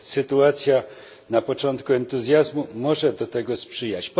Sytuacja na początku entuzjazmu może temu sprzyjać.